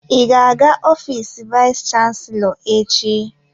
Ị ga-aga ofiisi vayis chansilọ echi?